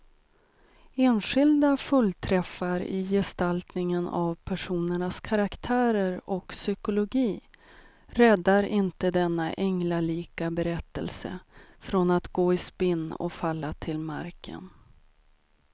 Enskilda fullträffar i gestaltningen av personernas karaktärer och psykologi räddar inte denna änglalika berättelse från att gå i spinn och falla till marken.